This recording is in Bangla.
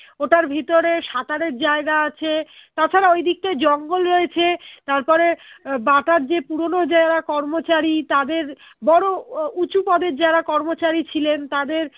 ওটার ভিতরে সাঁতারের জায়গা আছে তাছাড়া ঐদিকতায় জঙ্গল রয়েছে তারপরে আহ বাটার যে পুরোনো যারা কর্মচারী তাদের বড়ো উহ উঁচু পদের যারা কর্মচারী ছিলেন তাদের